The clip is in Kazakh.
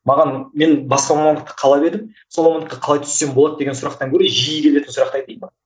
маған мен басқа мамандықты қалап едім сол мамандыққа қалай түссем болады деген сұрақтан көрі жиі келетін сұрақты айтайын ба